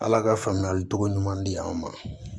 Ala ka faamuyali togo ɲuman di an ma